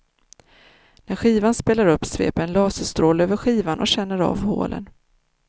När skivan spelas upp sveper en laserstråle över skivan och känner av hålen.